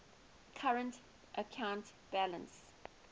current account balance